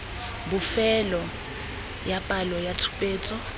bofelo ya palo ya tshupetso